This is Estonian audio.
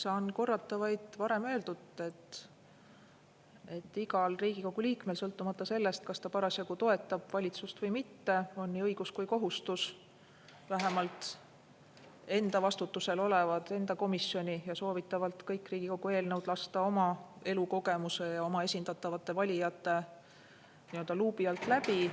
Saan korrata vaid varem öeldut, et igal Riigikogu liikmel, sõltumata sellest, kas ta parasjagu toetab valitsust või mitte, on nii õigus kui ka kohustus lasta vähemalt enda vastutusel olevad, oma komisjoni, aga soovitavalt kõik Riigikogu eelnõud oma elukogemuse ja oma esindatavate valijate nii-öelda luubi alt läbi.